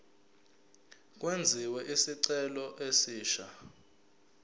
kwenziwe isicelo esisha